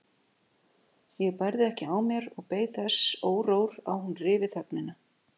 Ég bærði ekki á mér og beið þess órór að hún ryfi þögnina.